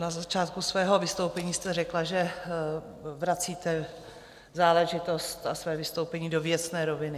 Na začátku svého vystoupení jste řekla, že vracíte záležitost a své vystoupení do věcné roviny.